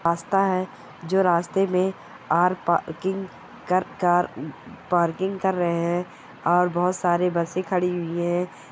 रास्ता है जो रास्ते में आर पार्किंग कार पार्किंग कर रहे है और बहुत सारे बसें खड़ी हुई है।